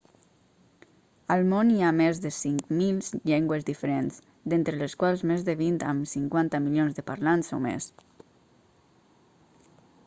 al món hi ha més de 5.000 llengües diferents d'entre les quals més de vint amb 50 milions de parlants o més